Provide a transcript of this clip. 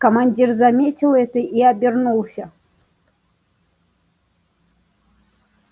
командир заметил это и обернулся